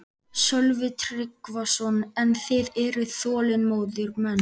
Sölvi Tryggvason: En þið eruð þolinmóðir menn?